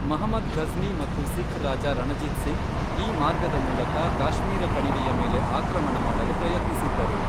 ಮಹಮದ್ ಘಜ್ನಿ ಮತ್ತು ಸಿಖ್ ರಾಜ ರಣಜಿತ್ ಸಿಂಗ್, ಈ ಮಾರ್ಗದ ಮೂಲಕ ಕಾಶ್ಮೀರ ಕಣಿವೆಯ ಮೇಲೆ ಆಕ್ರಮಣ ಮಾಡಲು ಪ್ರಯತ್ನಿಸಿದ್ದರು.